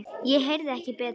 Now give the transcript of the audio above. Ég heyrði ekki betur.